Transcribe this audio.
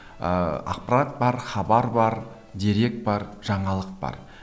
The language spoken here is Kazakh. ыыы ақпарат бар хабар бар дерек бар жаңалық бар